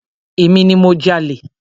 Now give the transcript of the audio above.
Emi ni mo jalè.